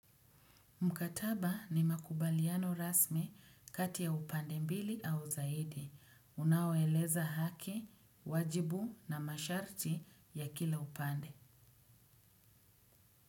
Mkataba ni makubaliano rasmi kati ya upande mbili au zaidi. Unaweleza haki, wajibu na masharti ya kila upande.